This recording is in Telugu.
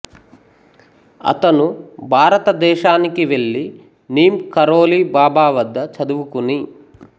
అతను భారతదేశానికి వెళ్లి నీమ్ కరోలి బాబా వద్ద చదువుకుని